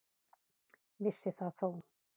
Vissi það þó.